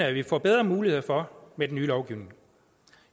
at vi får bedre muligheder for med den nye lovgivning